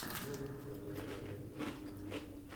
можешь показать киноленту в духе мультфильма